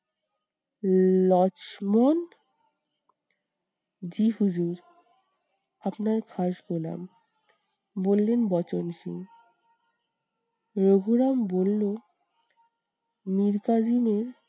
লক্ষ্মণ? জি হুজুর আপনার খাস গোলাম বললেন বচনসুর। রঘুরাম বললো মীর কাসিমের